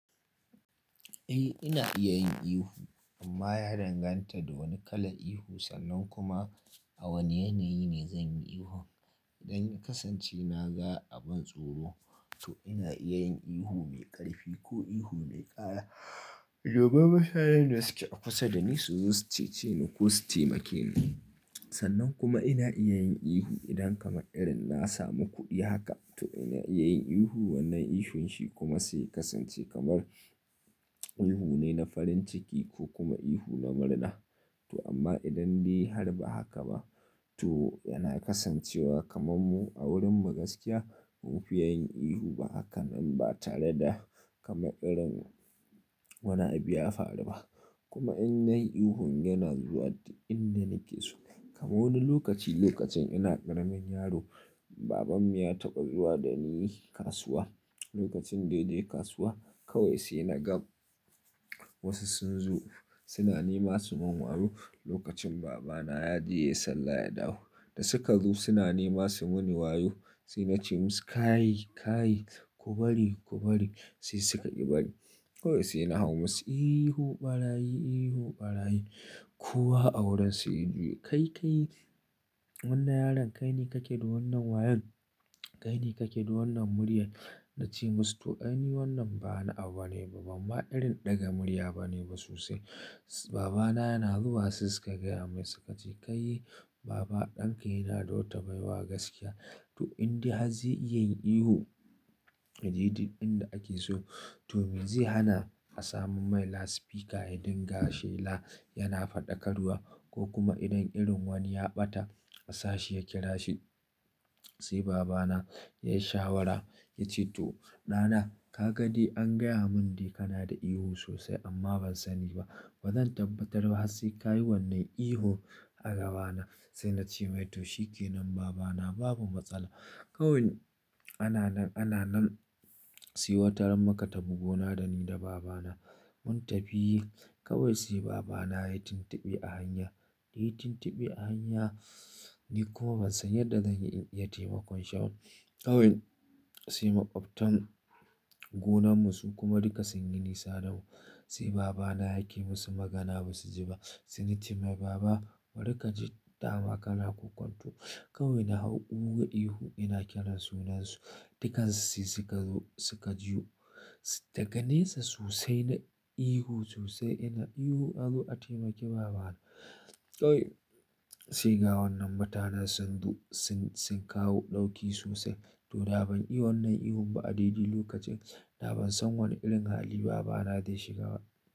Eh ina iya yin ihu amma ya danganta da wane kalan ihu sannan kuma a wane yanayi ne zan yi ihun. Idan in kasance na ga abun tsoro to ina iya yin ihu mai ƙarfi ko ihu mai ƙara. Domin mutanen da suke a kusa da ni su zo su cece ni ko su taimake ni. Sannan kuma ina iya yin ihu idan kamar irin na samu kuɗi haka to ina iya yin ihu wannan ihun shi kuma sai kasance kamar ihu ne na farin ciki ko kuma ihu na murna. To amma idan dai har ba haka ba to yana kasancewa kamar mu a wurin mu gaskiya ba mu fiye yin ihu ba haka in ba tare da kamar irin wani abu ya faru ba. Kuma in nayi ihun yana zuwa duk inda nake so. Kamar wani lokaci lokacin ina ƙaramin yaro babanmu ya taɓa zuwa da ni kasuwa. Lokacin daidai kasuwa kawai sai na ga wasu sun zo suna nema su mun wayo lokacin babana ya je yayi sallah ya dawo. Da suka zo suna nema suyi mini wayo sai na ce musu "kai, kai ku bari ku bari" sai suka ƙi bari. Kawai sai na hau musu ihu ɓarayi, ihu ɓarayi. Ko wa a wurin sai ya juyo, kai kai wannan yaron kai ne kake da wannan wayon? Kai ne kake da wannan murya? Na ce musu to ai ni wannan ba wani abu ne ba, bamma irin ɗaga murya ba ne ba sosai. Babana yana zuwa sai suka gaya masa suka ce kai baba ɗanka yana da wata baiwa gaskiya. To in dai har zai iya yin ihu a daidai inda ake so to me zai hana a samo mai loudspeaker ya din ga shela yana faɗakarwa ko kuma idan irin wani ya ɓata a sashi ya kira shi. Sai babana ya yi shawara ya ce to "ɗana ka ga dai an gaya mun dai kana da ihu sosai amma ban sani ba. Ba zan tabbatar ba har sai ka yi wannan ihun a gabana." Sai na ce mai to shikenan babana babu matsala. Kawai ana nan, ana nan sai wata ran muka ta fi gona da ni da babana mun tafi. Kawai sai babana ya yi tuntube a hanya, yayi tuntube a hanya ni kuma ban san yadda zan yi in iya taimakon shi ba. Kawai sai maƙwabtan gonanmu su kuma duka sun yi nisa da mu. Sai babana yake musu magana ba su ji ba. Sai na ce mai baba bari ka ji tawa kana ƙunkunto. Kawai na hau ƙuga ihu ina kiransu sunansu dukan su sai suka zo suka juyo. Daga nesa sosai nayi ihu sosai ina ihu azo a taimaki babana. To sai ga wannan mutanen sun zu-- sun, sun kawo ɗauki sosai to ban iya wannan ihun ba a daidai lokacin. Da ban san wane irin hali babana zai shiga ba.